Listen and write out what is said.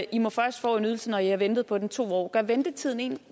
i må først få en ydelse når i har ventet på den i to år gør ventetiden en